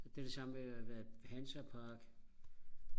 det er det samme med hvad Hansa Park